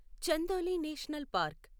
Chandoli national park